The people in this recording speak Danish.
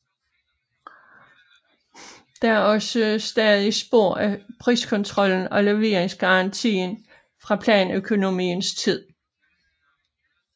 Der er også stadig spor af priskontrollen og leveringsgarantier fra planøkonomiens tid